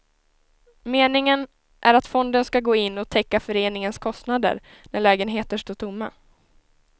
Meningen är att fonden ska gå in och täcka föreningens kostnader när lägenheter står tomma.